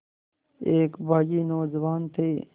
एक बाग़ी नौजवान थे